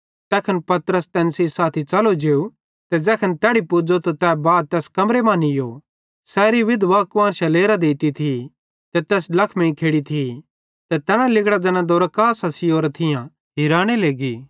तैखन पतरस तैन सेइं साथी च़लो जेव ते ज़ैखन तैड़ी पुज़ो त तै बा तैस कमरे मां नीयो सैरी विधवां कुआन्शां लेरां देती थी ते तैस ड्लखमेइं खेड़ि थी ते तैना लिगड़ां ज़ैना दोरकास सियोरां थियां हेराने लेगी